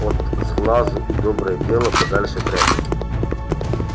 от сглазу и доброе дело подальше прячут